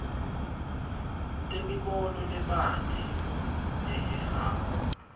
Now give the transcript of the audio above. temibono lebanti lehehako